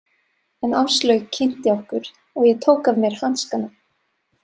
En Áslaug kynnti okkur og ég tók af mér hanskana.